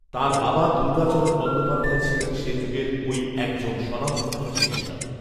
তাঁর বাবা দুর্গাচরণ বন্দ্যোপাধ্যায় ছিলেন সেযুগেরঐ একজন স্বনামধন্য চিকিৎসক